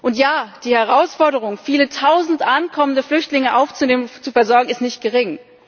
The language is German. Und ja, die Herausforderung, viele tausend ankommende Flüchtlinge aufzunehmen und zu versorgen, ist nicht gering.